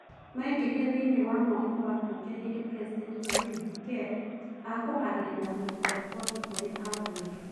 Maingirire thiinie wa mwako wa bunge hindi president Nayib Bukele akuhagiriria kuruta ribotikuri abunge.